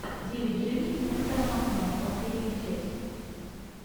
девять жизней нестора махно последняя часть